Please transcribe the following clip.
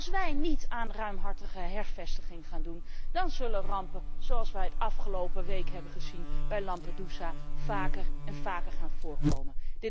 Als wij niet aan ruimhartige hervestiging gaan doen, dan zullen rampen zoals wij afgelopen week hebben gezien bij Lampedusa vaker en vaker gaan voorkomen.